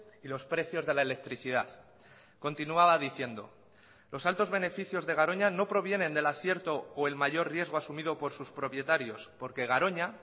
y los precios de la electricidad continuaba diciendo los altos beneficios de garoña no provienen del acierto o el mayor riesgo asumido por sus propietarios porque garoña